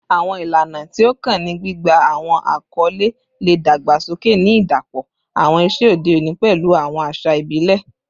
Awọn ilana ti o kan ni gbigba awọn akọle le dagbasoke, ni idapọ awọn iṣe ode oni pẹlu awọn aṣa ibile